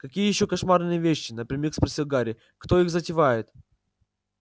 какие ещё кошмарные вещи напрямик спросил гарри кто их затевает